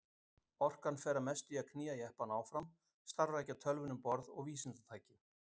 Orkan fer að mestu í að knýja jeppann áfram, starfrækja tölvuna um borð og vísindatækin.